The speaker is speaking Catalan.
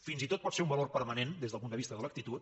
fins i tot pot ser un valor permanent des del punt de vista de l’actitud